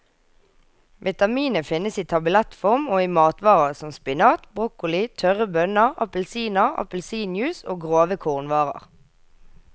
Vitaminet finnes i tablettform og i matvarer som spinat, broccoli, tørre bønner, appelsiner, appelsinjuice og grove kornvarer.